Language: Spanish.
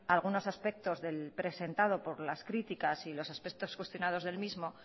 algunos aspectos del presentado por las críticas y los aspectos cuestionados del mismo